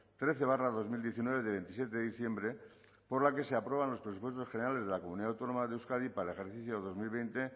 trece barra dos mil diecinueve de veintisiete de diciembre por la que se aprueban los presupuestos generales de la comunidad autónoma de euskadi para el ejercicio dos mil veinte